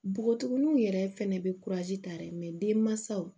Npogotigininw yɛrɛ fɛnɛ be tari denmansaw